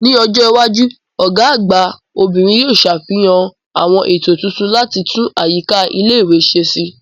Ní ọjọ́ iwájú, Ọ̀gá àgbà obìnrin yóò sàfihàn àwọn ètò tuntun láti tún àyíká ilé ìwé ṣe si